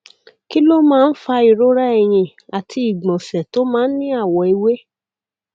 kí ló máa ń fa ìrora ẹyìn àti ìgbọnsẹ tó máa ń ní àwọ ewé